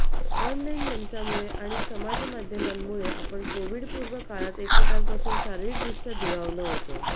online मंचांमुळे आणि समाजमाध्यमांमुळे आपण कोव्हिडपूर्व काळात एकमेकांपासून शारीरदृष्ट्या दुरावलो होतो